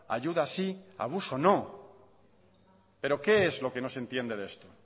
ayuda sí abuso no pero qué es lo que no se entiende de esto